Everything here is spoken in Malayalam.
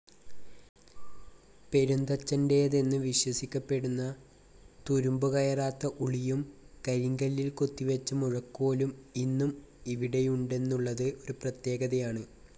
പെരുന്തച്ഛൻ്റേതെന്നു വിശ്വസിക്കപ്പെടുന്ന തുരുമ്പുകയറാത്ത ഉളിയും കരിങ്കല്ലിൽ കൊത്തിവെച്ച മുഴക്കോലും ഇന്നും ഇവിടെയുണ്ടെന്നുള്ളത് ഒരു പ്രത്യേകതയാണ്.